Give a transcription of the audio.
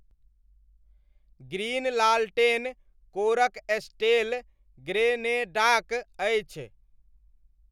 Green लालटेन कोरक स्टेल ग्रेनेडाक अछि।